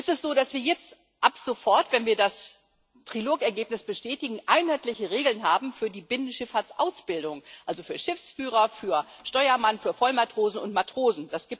Es ist so, dass wir jetzt ab sofort, wenn wir das Trilog Ergebnis bestätigen, einheitliche Regeln für die Binnenschifffahrts Ausbildung haben also für Schiffsführer, für Steuermann, für Vollmatrosen und Matrosen.